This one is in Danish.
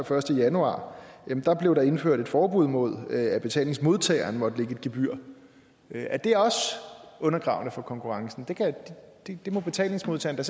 første januar blev der indført et forbud mod at betalingsmodtageren måtte lægge et gebyr er det også undergravende for konkurrencen det må betalingsmodtageren